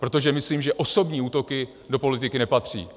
Protože myslím, že osobní útoky do politiky nepatří.